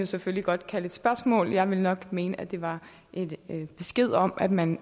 selvfølgelig godt kalde et spørgsmål men jeg ville nok mene at det var en besked om at man